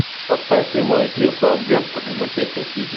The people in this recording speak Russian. поставь прямой эфир саутгемптон и манчестер сити